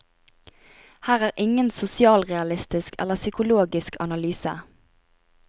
Her er ingen sosialrealistisk eller psykologisk analyse.